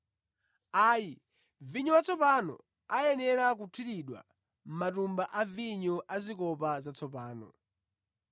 Ayi, vinyo watsopano ayenera kuthiridwa mʼmatumba a vinyo azikopa zatsopano.